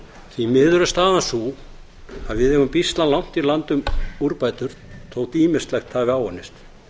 því miður er staðan sú að við eigum býsna langt í land um úrbætur þótt ýmislegt hafi áunnist